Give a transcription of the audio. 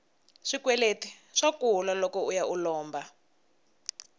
swikweleti swa kula loko uya u lomba